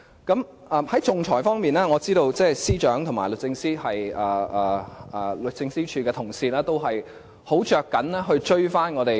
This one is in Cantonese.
在仲裁方面，我知道司長和律政司的同事均十分着緊追上其他地方。